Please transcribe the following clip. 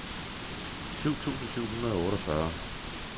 syv tusind syv hundrede og otteogfyrre